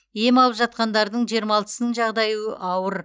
ем алып жатқандардың жиырма алтысының жағдайы ауыр